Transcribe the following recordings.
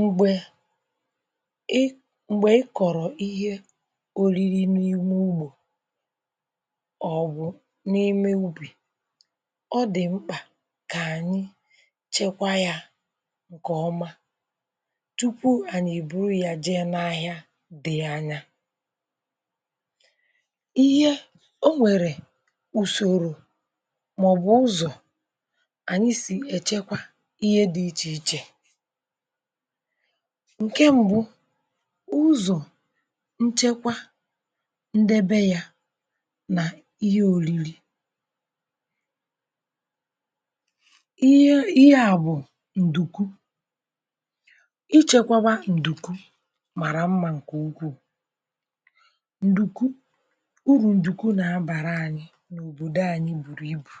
m̀gbè ị, m̀gbè ị kọ̀rọ̀ ihe ọlịrì n’ime ụ̀gbọ̀ ọ̀bụ̀ n’ime ụ̀bì ọ dị̀ mkpà kà ànyị chekwa yà ǹkè ọma tupu ànyị èburu yà jee n’ahịa dị̀ anya. ihe ọ nwèrè ùsòrò màọ̀bụ̀ ụzọ̀ ànyị sì èchekwa ihe dị̇ iche iche ǹkè mbụ, ụzọ̀ nchekwa ndebe ya nà ihe ȯrìrì ihe à bụ̀ ǹdùkwù, ichėkwȧwa ǹdùkwù màrà mmȧ ǹkè ukwu̇, ǹdùkwù, urù ǹdùkwù nà-abàra ȧnyị̇ n’òbòdo ȧnyị̇ bùrù ibù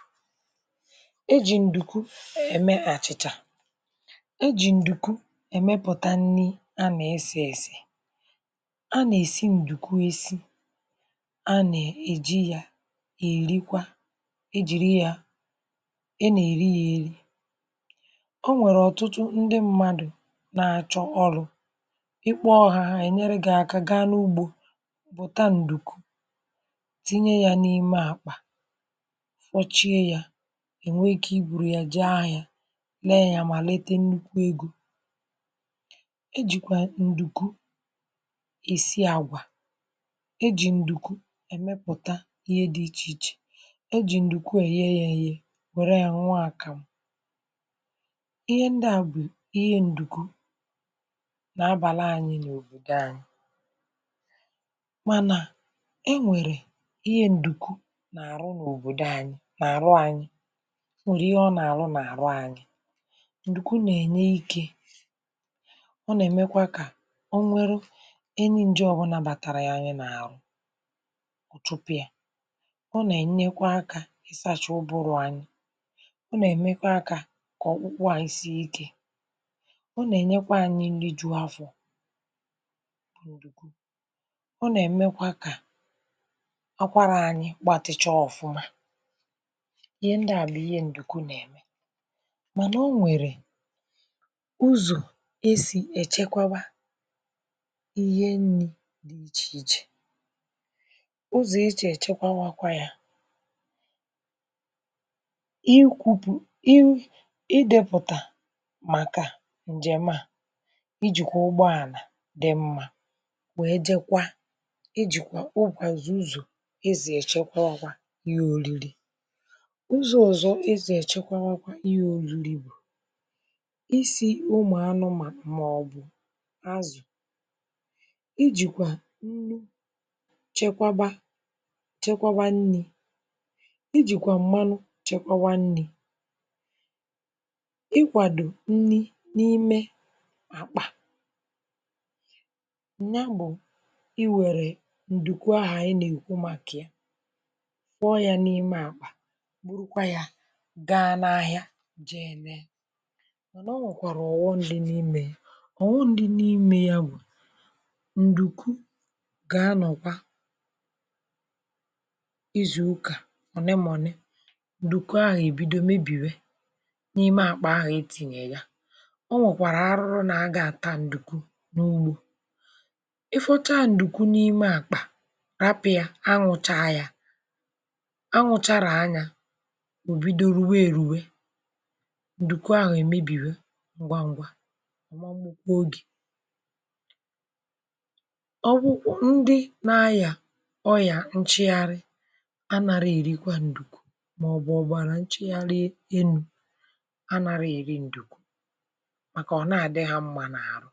e jì ǹdùkwù ème àchị̀chà, e ji ǹdùkwù emepùtà nri a nà-èsè èsè, a nà-èsi ǹdùkwù esi, a nà-èjikwa yà èrikwa, e jìri yà, a nà-èri yà eri. ọ nwèrè ọ̀tụtụ ndị mmadụ̀ na-àchọ ọrụ̇, ịkpọ̇ hȧ, ha ènyere gị̇ aka gaa n’ụ̀gbọ̀ bụ̀ta ǹdùkwù tinye yà n’ime àkpà fọchie yà, ènwe ike iburu yà jee ahịa ya, lee ya mà lete nnukwu egȯ. e jìkwà ǹdùkwù esi àgwà, e jì ǹdùkwù èmepụ̀tà ihe dị̇ iche iche, e jì ǹdùkwù èye ya èye were ya nwụụ àkàmụ̀, ihe ndị a bụ̀ ihe ǹdùkwù nà-abàla anyị n’òbòdò anyị̇, mànà e nwèrè ihe ǹdùkwù n’àrụ n’òbòdò anyị̇ nà àrụ anyị̇ o nwèrè ihe ọ nà-àrụ nà-àrụ anyị̇, ǹdùkwù na-enye ike, ọ nà-èmekwà kà o nwerù any ǹje ọ bụ nà batàrà anyị n’àrụ ọ̀chụpụ ya, ọ nà-ènyekwà akȧ ịsȧcha ụbụrụ anyị, ọ nà-èmekwà akȧ kà ọkpụkpụ anyị sie ikė, ọ nà-ènyekwà anyị nri jùù afọ̀ ọ nà-èmekwà kà àkwàrâ anyị̇ gbatịcha ọ̀fụma, ihe ndì à bụ̀ ihe ǹdùkù nà-ème, mana o nwèrè ụzọ esi echekwáwa ihe nni̇ dị̀ iche iche, ụzọ̀ esi echekwánwàkwà yà i kwùpù, i dépụ̀tà màkà ǹjèma a, iji kwà ụ̀gbọ̀ ànà dị mmȧ wèe je kwa, iji kwà mgbazù ụzọ̀ i zì èchekwánwàkwà ihe ȯrìrì, ụzọ̀ ụzọ̀ esi èchekwánwàkwà ihe ȯrìrì bù isi umu anumanu màọ̀bụ̀ azụ̀, iji kwà nnu chekwàbà chekwàbà nni̇, iji kwà m̀manụ chekwàwa nni̇, ịkwàdò nni n’ime àkpà nya bụ̀ iwèrè ǹdùkwù ahȧ ànyị nà-èkwu màkà ya, kwọọ yà n’ime àkpà bụrụkwà yà gaa n’ahịa jee neè, mana ọ̀ wekwara oghòm dị n’ime ya, oghòm dị n’ime ya bụ̀ ǹdùkwù gà-anọ̀kwa izù ụ̀kà ọ̀ne mà ọ̀ne ǹdùkwù ahụ̀ bido mebìwe n’ime àkpà ahụ̀ etìnyè yà. ọ nwèkwàrà àrụ̀rù nà a gà-àta ǹdùkwù n’ụ̀gbọ̀ ị fọchá ǹdùkwù n’ime àkpà rapị̇ yà ànywụ̀ chà yà, ànywụ̀ chàràa yà ò bido rùwé èrùwé, ǹdùkwù ahụ̀ èmebìwe ngwa ngwa, ọ mà gbùkwè oge ọ bụkwọ ndị nà-ayà ọyà nchị̀gharị anàrà èrikwà ǹdùkwù mà ọ̀bụ̀ọ̀bàrà nchị̀gharị ènú̇ anàrà èri ǹdùkwù màkà ọ̀nà àdị ha mmà nà àrụ.